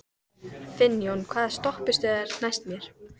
Finnjón, hvaða stoppistöð er næst mér?